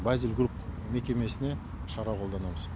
базил групп мекемесіне шара қолданамыз